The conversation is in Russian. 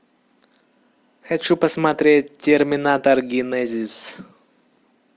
хочу посмотреть терминатор генезис